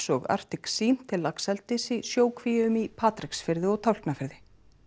og Arctic Sea til laxeldis í sjókvíum í Patreksfirði og Tálknafirði